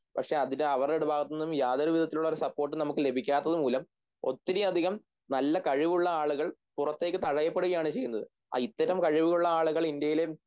പക്ഷെ അതിന് അവരുടെ ഭാഗത്തുനിന്നും യാതൊരുവിധത്തിലുമുള്ള ഒരു സപ്പോർട്ട് നമുക്ക് ലഭിക്കാത്തതുമൂലം ഒത്തിരിയതികം നല്ല കഴിവുള്ള ആളുകൾ പുറത്തേക്ക് തഴയപ്പെടുകയാണ് ചെയ്യുന്നത് ഇത്തരം കഴിവുകളുള്ള ആളുകൾ ഇന്ത്യയില്